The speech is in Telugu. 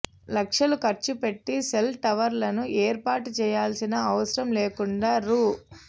లక్షలు ఖర్చుపెట్టి సెల్ టవర్లను ఏర్పాటు చేయాల్సిన అవసరం లేకుండా రూ